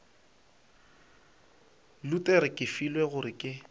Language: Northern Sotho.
luthere ke filwe gore ke